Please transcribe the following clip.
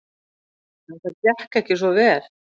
En það gekk ekki svo vel.